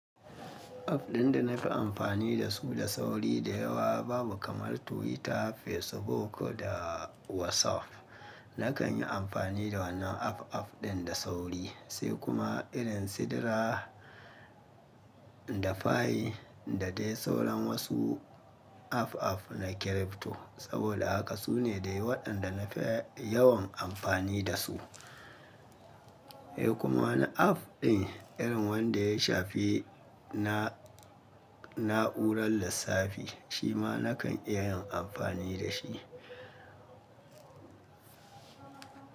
App ɗin da na fi amfani da su da sauri da yawa babu kamar Twitter, Facebook da WhatsApp. Nakan yi amfani da wannan app app ɗin da sauri, sai kuma irin sidira da fayil da dai sauran wasu app app na crypto. Saboda haka su ne dai waɗanda na fi yawan amfani da su. Eh kuma wani app ɗin irin wanda ya shafi na na'urar lissafi, shi ma nakan iya yin amfani da shi.